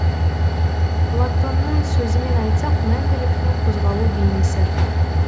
платонның сөзімен айтсақ мәңгіліктің қозғалу бейнесі